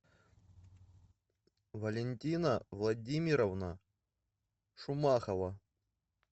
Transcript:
валентина владимировна шумахова